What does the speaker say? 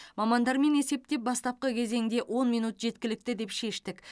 мамандармен есептеп бастапқы кезеңде он минут жеткілікті деп шештік